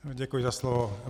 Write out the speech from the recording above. Děkuji za slovo.